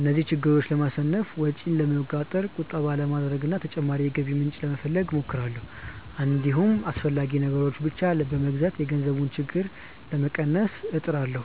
እነዚህን ችግሮች ለማሸነፍ ወጪን ለመቆጣጠር፣ ቁጠባ ለማድረግ እና ተጨማሪ የገቢ ምንጭ ለመፈለግ እሞክራለሁ። እንዲሁም አስፈላጊ ነገሮችን ብቻ በመግዛት የገንዘብ ችግሩን ለመቀነስ እጥራለሁ።